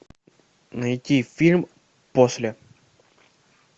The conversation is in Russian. найти фильм после